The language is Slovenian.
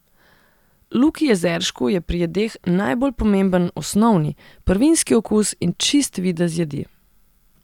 Luki Jezeršku je pri jedeh najbolj pomemben osnovni, prvinski okus in čist videz jedi.